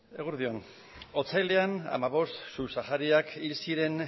eguerdi on otsailean hamabost subsahariak hil ziren